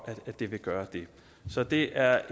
at det vil gøre det så det er